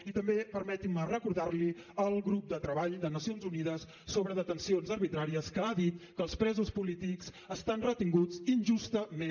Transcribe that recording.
i també permeti’m recordar li el grup de treball de nacions unides sobre detencions arbitràries que ha dit que els presos polítics estan retinguts injustament